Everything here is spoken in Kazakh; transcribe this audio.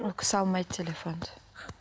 ол кісі алмайды телефонды